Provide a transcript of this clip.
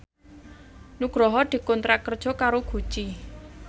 Nugroho dikontrak kerja karo Gucci